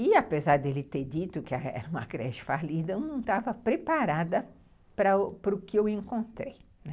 E, apesar dele ter dito que era uma creche falida, eu não estava preparada para o que eu encontrei.